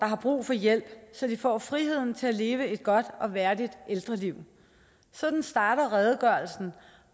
har brug for hjælp så de får friheden til at leve et godt og værdigt ældreliv sådan starter redegørelsen